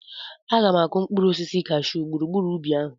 Aga m akụ mkpụrụ osisi cashyuu gburugburu ubi ahụ.